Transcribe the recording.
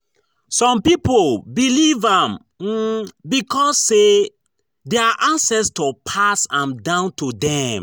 Some pipo believe am um because say their ancestor pass am down to dem